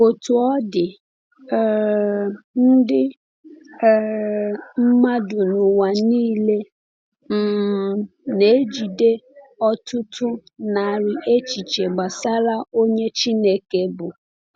Otú ọ dị, um ndị um mmadụ n’ụwa niile um na-ejide ọtụtụ narị echiche gbasara onye Chineke bụ.